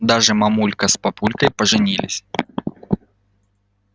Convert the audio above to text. дальше мамулька с папулькой поженились